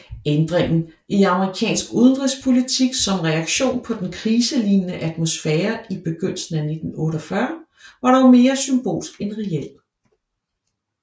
Ændringen i amerikansk udenrigspolitik som reaktion på den kriselignende atmosfære i begyndelsen af 1948 var dog mere symbolsk end reel